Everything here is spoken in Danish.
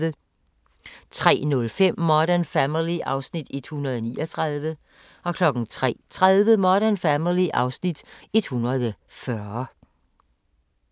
03:05: Modern Family (Afs. 139) 03:30: Modern Family (Afs. 140)